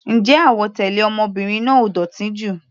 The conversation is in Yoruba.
Ǹjẹ́ àwọ̀ tẹlẹ ọmọbìnrin náà ò dótì jù?